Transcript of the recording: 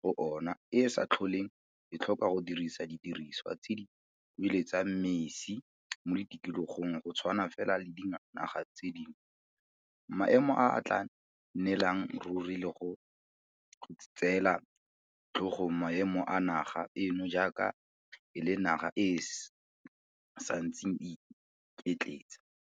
go ona e sa tlholeng e tlhoka go dirisa di diriswa tse di kueletsang mesi mo tikologong go tshwana fela le dinaga tse dingwe, maemo a a tla nnelang ruri le go go tseela tlhogong maemo a naga eno jaaka e le naga e e santseng e iketletsa.